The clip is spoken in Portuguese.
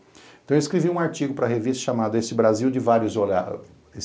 Então eu escrevi um artigo para a revista chamada Esse Brasil de Vários Olhares.